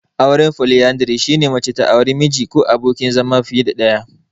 Auren Foliyandari, shine mace ta aure miji/abokin zama fiye da ɗaya.